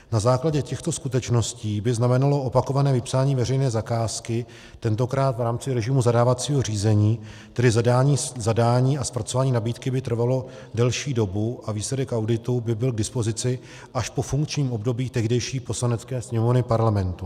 Na základě těchto skutečností by znamenalo opakované vypsání veřejné zakázky, tentokrát v rámci režimu zadávacího řízení, tedy zadání a zpracování nabídky by trvalo delší dobu a výsledek auditu by byl k dispozici až po funkčním období tehdejší Poslanecké sněmovny Parlamentu.